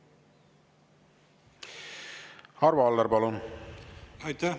Arvo Aller, palun!